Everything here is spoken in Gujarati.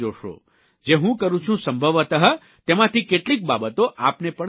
જે હું કરું છું સંભવતઃ તેમાંથી કેટલીક બાબતો આપને પણ કામ આવશે